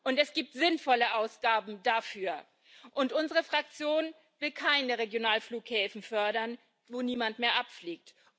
Und es gibt sinnvolle Ausgaben dafür. Unsere Fraktion will keine Regionalflughäfen fördern, von denen niemand mehr abfliegt.